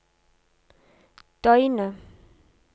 døgnet